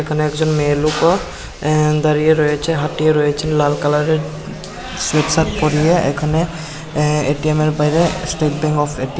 এখানে একজন মেয়ে লুকও অ্যা দাঁড়িয়ে রয়েছে হাটিয়ে রয়েছে লাল কালারের সুট শার্ট পরিয়ে এখানে এঅ্যা এ_টি_এম এর বাইরে স্টেট ব্যাঙ্ক অফ এ--